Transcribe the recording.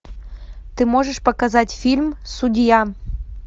ты можешь показать фильм судья